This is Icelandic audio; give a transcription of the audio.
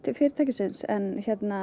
fyrirtækisins en